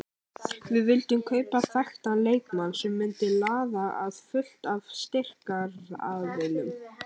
Við vildum kaupa þekktan leikmann sem myndi laða að fullt af styrktaraðilum.